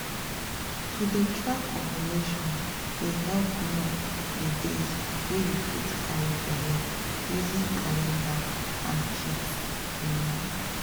to dey track ovulation dey help know the days wey you fit carry belle using calendar and kits you know.